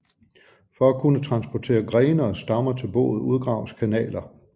For at kunne transportere grene og stammer til boet udgraves kanaler